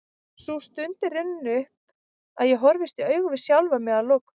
Sú stund er runnin upp að ég horfist í augu við sjálfan mig að lokum.